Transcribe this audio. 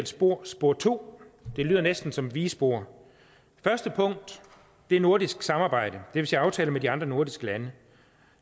spor spor to det lyder næsten som et vigespor første punkt er nordisk samarbejde og vil sige aftaler med de andre nordiske lande